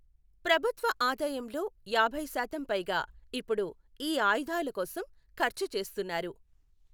ప్రభుత్వ ఆదాయంలో యాభై శాతం పైగా ఇప్పుడు ఈ ఆయుధాల కోసం ఖర్చు చేస్తున్నారు.